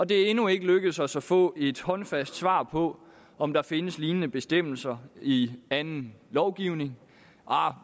det er endnu ikke lykkedes os at få et håndfast svar på om der findes lignende bestemmelser i anden lovgivning